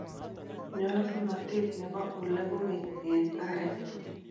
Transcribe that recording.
nyalunatet nebo ole kogeny en arek